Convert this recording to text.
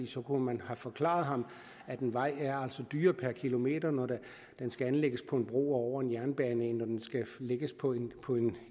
så kunne man have forklaret ham at en vej er dyrere per kilometer når den skal anlægges på en bro over en jernbane end når den skal lægges på en på